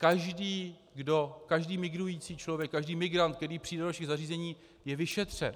Každý migrující člověk, každý migrant, který přijde do našich zařízení, je vyšetřen.